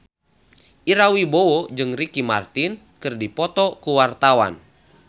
Ira Wibowo jeung Ricky Martin keur dipoto ku wartawan